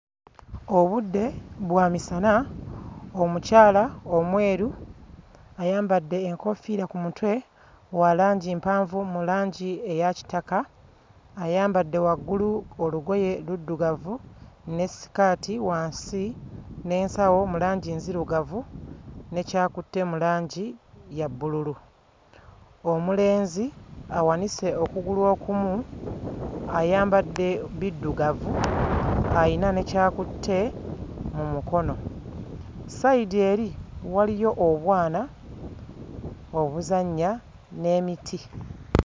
Obudde bwa misana, omukyala omweru ayambadde enkoofiira ku mutwe wa langi mpanvu mu langi eya kitaka, ayambadde waggulu olugoye luddugavu ne sikaati wansi n'ensawo mu langi nzirugavu ne ky'akutte mu langi ya bbululu, omulenzi awanise okugulu okumu ayambadde biddugavu, ayina ne ky'akutte mu mukono, ssayidi eri waliyo obwana obuzannya n'emiti.